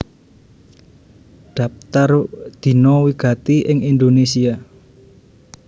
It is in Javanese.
Dhaptar Dina wigati ing Indonésia